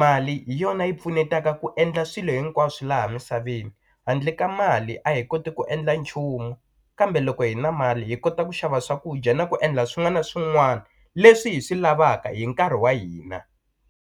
mali hi yona yi pfunetaka ku endla swilo hinkwaswo laha misaveni handle ka mali a hi koti ku endla nchumu kambe loko hi na mali hi kota ku xava swakudya na ku endla swin'wana na swin'wana leswi hi swi lavaka hi nkarhi wa hina.